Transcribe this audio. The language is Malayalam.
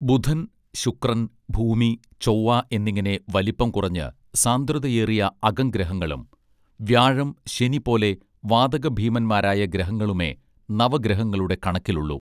ബുധൻ ശുക്രൻ ഭൂമി ചൊവ്വ എന്നിങ്ങനെ വലിപ്പം കുറഞ്ഞ് സാന്ദ്രതയേറിയ അകം ഗ്രഹങ്ങളും വ്യാഴം ശനി പോലെ വാതക ഭീമന്മാരായ ഗ്രഹങ്ങളുമേ നവ ഗ്രഹങ്ങളുടെ കണക്കിലുള്ളു